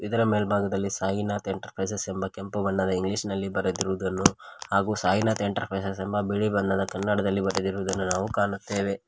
ಇದರ ಮೇಲ್ಭಾಗದಲ್ಲಿ ಸಾಯಿನಾಥ್ ಎಂಟರ್ಪ್ರೈಸಸ್ ಎಂಬ ಕೆಂಪು ಬಣ್ಣದ ಇಂಗ್ಲಿಷ್ ನಲ್ಲಿ ಬರೆದಿರುವುದನ್ನು ಹಾಗೂ ಸಾಯಿನಾಥ್ ಎಂಟರ್ಪ್ರೈಸಸ್ ಎಂಬ ಬಿಳಿ ಬಣ್ಣದ ಕನ್ನಡದಲ್ಲಿ ಬರೆದಿರುವುದನ್ನು ನಾವು ಕಾಣುತ್ತೇವೆ.